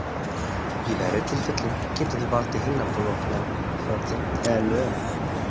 Í verri tilfellum geta þau valdið heilablóðfalli eða lömun.